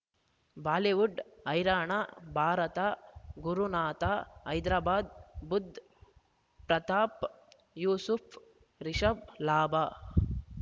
Bollywood ಹೈರಾಣ ಭಾರತ ಗುರುನಾಥ ಹೈದರಾಬಾದ್ ಬುಧ್ ಪ್ರತಾಪ್ ಯೂಸುಫ್ ರಿಷಬ್ ಲಾಭ